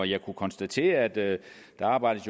jeg kunne konstatere at der jo arbejdes